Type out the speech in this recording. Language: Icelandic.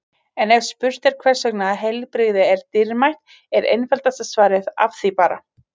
En ef spurt er hvers vegna heilbrigði er dýrmætt er einfaldasta svarið Af því bara!